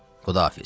Xudahafiz.